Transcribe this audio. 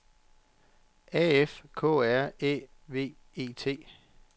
A F K R Æ V E T